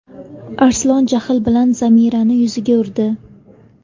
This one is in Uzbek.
Arslon jahl bilan Zamiraning yuziga urdi.